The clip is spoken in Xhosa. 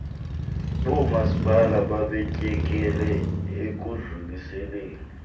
boomasipala babetyekele ekudluliseleni